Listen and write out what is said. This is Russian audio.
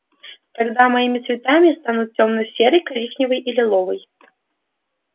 тогда моими цветами станут тёмно-серый коричневый и лиловый